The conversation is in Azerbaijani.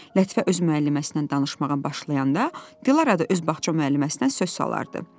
Lətifə öz müəlliməsindən danışmağa başlayanda, Dilarə də öz bağça müəlliməsindən söz salardı.